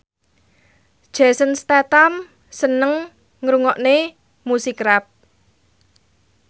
Jason Statham seneng ngrungokne musik rap